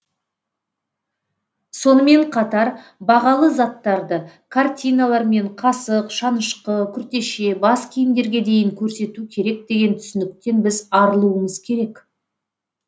сонымен қатар бағалы заттарды картиналар мен қасық шанышқы күртеше бас киімдерге дейін көрсету керек деген түсініктен біз арылуымыз керек